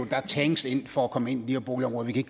der er tanks for at komme ind i de her boligområder vi kan